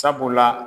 Sabula